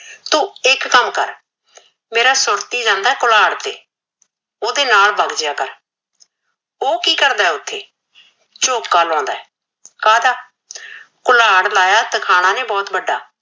ਤੂ ਇਕ ਕਮ ਕਰ ਮੇਰਾ ਸੁਰਤੀ ਜਾਂਦਾ ਏ ਕੁਲਾੜ ਤੇ ਓਹਦੇ ਨਾਲ ਵਗ ਜਯਿਆ ਕਰ ਓਹ ਕੀ ਕਰਦਾ ਓਥੇ ਝੋਕਾ ਲਾਉਂਦਾ ਏ ਕਾਹਦਾ ਕੁਲਾੜ ਲਾਇਆ ਏ ਤਰਖਾਣਾ ਨੇ ਬੋਹਤ ਵਡਾ